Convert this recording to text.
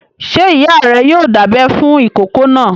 Ṣé ìyá rẹ yoo dábẹ fún ìkókó náà?